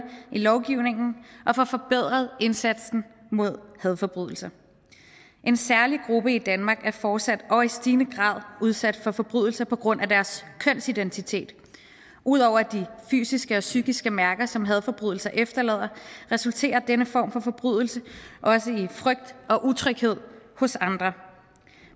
i lovgivningen og får forbedret indsatsen mod hadforbrydelser en særlig gruppe i danmark er fortsat og i stigende grad udsat for forbrydelser på grund af deres kønsidentitet ud over de fysiske og psykiske mærker som hadforbrydelser efterlader resulterer denne form for forbrydelse også i frygt og utryghed hos andre